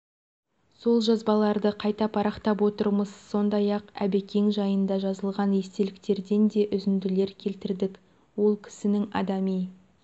сол жазбаларды қайта парақтап отырмыз сондай-ақ әбекең жайында жазылған естеліктерден де үзінділер келтірдік ол кісінің адами